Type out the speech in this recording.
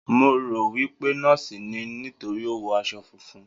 Mo rò wí pé nọ́ọ̀sì ni, nítorí ó wọ aṣọ funfun.